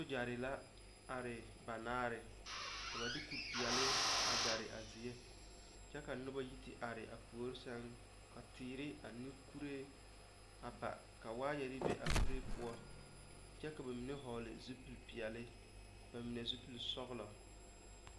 Sogyɛre la are banaare ka ba de kuripeɛlle a gare a zie kyɛ ka noba a yi te are a puori sɛŋ ka teere ane kuree a ba ka waayɛre be a kuree poɔ kyɛ ka ba mine vɔgle zupil peɛlle ba mine zupil sɔglɔ.